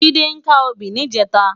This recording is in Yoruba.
Jide ká óbì nijètá